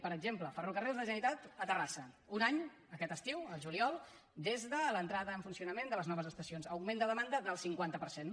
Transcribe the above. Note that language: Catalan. per exemple ferrocarrils de la generalitat a terrassa un any aquest estiu el juliol des de l’entrada en funcionament de les noves estacions augment de demanda del cinquanta per cent